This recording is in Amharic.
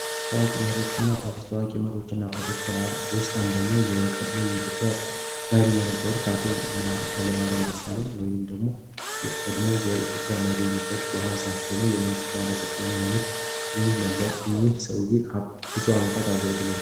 ከታዋቂ መሪዎችና አባቶች ውስጥ አንደኛው የቀድሞ የኢትዮጵያ መሪ የነበሩት አቶ ኃይለማርያም ደሳለኝ በአሁኑ ሰዓት ደግሞ የመንግስት ባለስልጣን የሆኑት እኚህ ሰውዬ ብዙ ዓመታት አገልግለዋል።